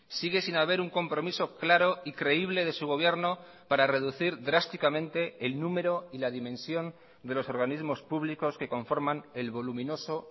sigue sin haber un compromiso claro y creíble de su gobierno para reducir drásticamente el número y la dimensión de los organismos públicos que conforman el voluminoso